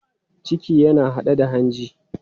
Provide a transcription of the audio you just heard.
Ciki yana haɗe da hanji.